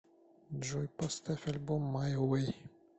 джой поставь альбом май вэй